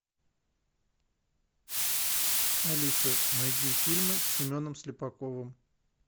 алиса найди фильмы с семеном слепаковым